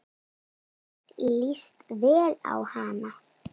Mér líst vel á hana.